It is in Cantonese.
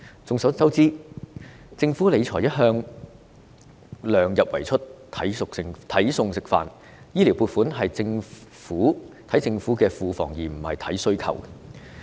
眾所周知，政府理財一向量入為出，"睇餸食飯"，醫療撥款的金額是視乎政府庫房的盈餘而非需求而定。